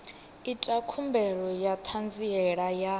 ita khumbelo ya ṱhanziela ya